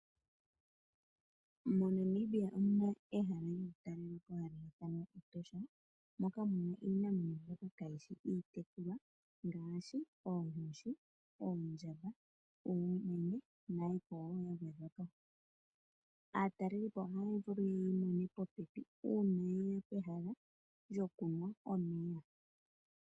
MoNamibia omuna ehala hali talelwapo hali ithanwa Etosha, moka muna iinamwenyo mbyoka kayishi iitekulwa ngaashi oonkoshi, oondjamba, uumenye nayikwawo ya gwedhwapo . Aatalelipo ohaya vulu yeyi mone popepi uuma yeya pehala lyokunwa omeya.